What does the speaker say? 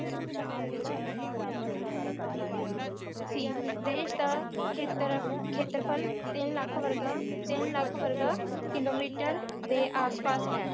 ਸੀ ਦੇਸ਼ ਦਾ ਖੇਤਰ ਖੇਤਰਫਲ ਤਿੰਨ ਲੱਖ ਵਰਗਾ ਤਿੰਨ ਲੱਖ ਵਰਗਾ ਕਿਲੋਮੀਟਰ ਦੇ ਆਸ ਪਾਸ ਹੈ